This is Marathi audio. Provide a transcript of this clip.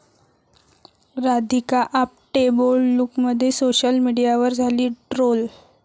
राधिका आपटे बोल्ड लूकमध्ये, सोशल मीडियावर झाली ट्रोल